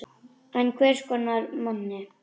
En hvers konar manni?